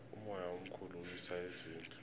umoya omkhulu uwisa izindlu